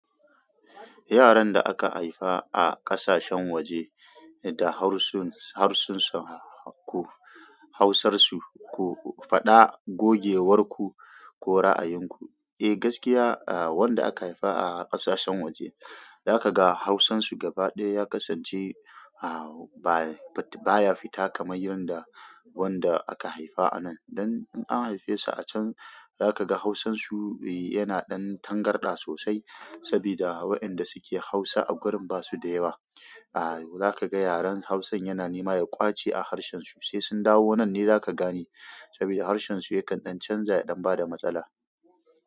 Yaran da aka haifa a ƙasashen waje da harsunsu, harsunsu ko hausarsu ku faɗa gogewarku ko ra'ayinku. Eh gaskiya, wanda aka haifa a ƙasashen waje za ka ga hausansu gaba ɗaya ya kasance baya fita kamar yanda wanda aka haifa a nan. Dan in an haife su a can za ka ga hausansu yana ɗan tangarɗa sosai saboda waɗanda suke hausa a garin ba su da yawa. Za ka ga yaran hausan yana nema ya ƙwace a harshensu sai sun dawo nan ne za ka gane saboda harshensu ya kan ɗan canza ya ɗan bada matsala.